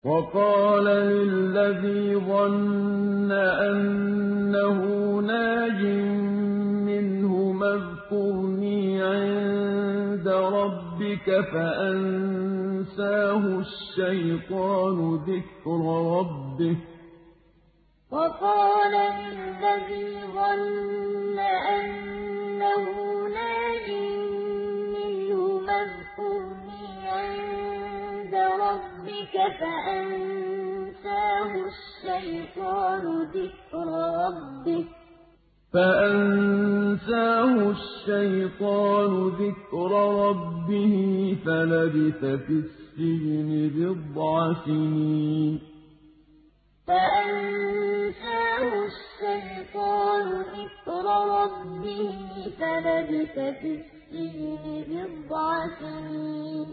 وَقَالَ لِلَّذِي ظَنَّ أَنَّهُ نَاجٍ مِّنْهُمَا اذْكُرْنِي عِندَ رَبِّكَ فَأَنسَاهُ الشَّيْطَانُ ذِكْرَ رَبِّهِ فَلَبِثَ فِي السِّجْنِ بِضْعَ سِنِينَ وَقَالَ لِلَّذِي ظَنَّ أَنَّهُ نَاجٍ مِّنْهُمَا اذْكُرْنِي عِندَ رَبِّكَ فَأَنسَاهُ الشَّيْطَانُ ذِكْرَ رَبِّهِ فَلَبِثَ فِي السِّجْنِ بِضْعَ سِنِينَ